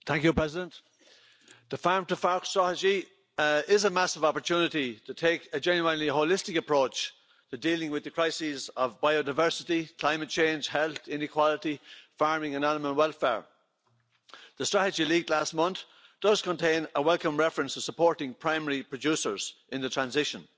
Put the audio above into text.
Mr President, the Farm to Fork Strategy is a massive opportunity to take a genuinely holistic approach to dealing with the crises of biodiversity, climate change, health, inequality, farming and animal welfare. The Strategy leaked last month does contain a welcome reference to supporting primary producers in the transition.